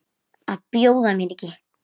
Að bjóða mér ekki.